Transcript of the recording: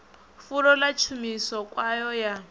fulo ḽa tshumiso kwayo ya